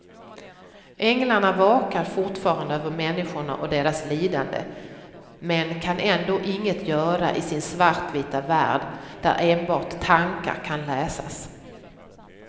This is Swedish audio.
Änglarna vakar fortfarande över människorna och deras lidande, men kan ändå inget göra i sin svartvita värld, där enbart tankar kan läsas.